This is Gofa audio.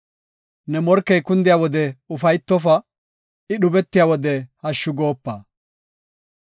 Ne morkey kundiya wode ufaytofa; I dhubetiya wode hashshu goopa.